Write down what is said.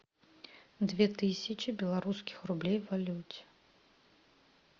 две тысячи белорусских рублей в валюте